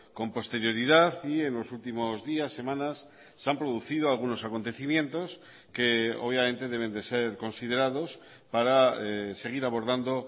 con posterioridad y en los últimos días semanas se han producido algunos acontecimientos que obviamente deben de ser considerados para seguir abordando